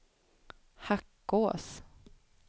Hackås